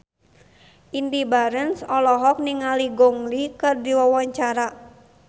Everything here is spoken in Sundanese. Indy Barens olohok ningali Gong Li keur diwawancara